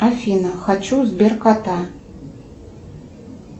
афина хочу сберкота